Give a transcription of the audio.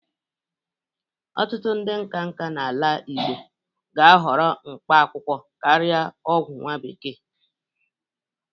Ọtụtụ ndị nkanka n'ala Igbo ga-ahọrọ mkpa akwụkwọ karịa ọgwọ nwa bekee.